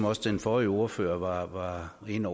også den forrige ordfører var inde